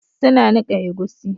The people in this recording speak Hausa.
Suna nika egusi